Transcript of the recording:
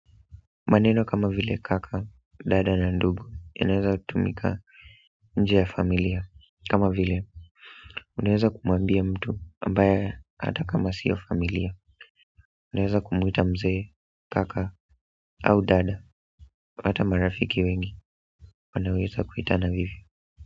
Maneno kama vile kaka, dada na ndugu yanaeza tumika nje ya familia kama vile, unaeza kumwambia mtu ambaye hata kama sio familia unaeza kumwita mzee kaka au dada hata marafiki wengi wanaweza kuitana vivi.